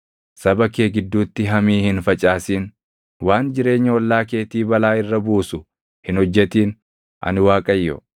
“ ‘Saba kee gidduutti hamii hin facaasin. “ ‘Waan jireenya ollaa keetii balaa irra buusu hin hojjetin. Ani Waaqayyo.